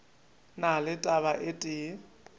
na le taba e tee